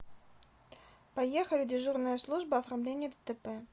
поехали дежурная служба оформления дтп